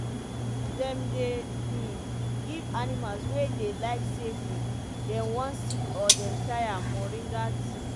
dem dey um give animals wey dey like say um dem wan sick or dem tire moringa tea.